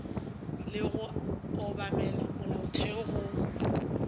le go obamela molaotheo go